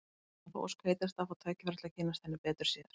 Hann á þá ósk heitasta að fá tækifæri til að kynnast henni betur síðar.